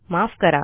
माफ करा